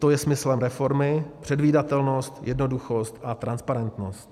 To je smyslem reformy - předvídatelnost, jednoduchost a transparentnost.